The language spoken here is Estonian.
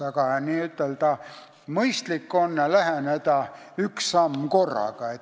Aga mõistlik on asjale läheneda üks samm korraga.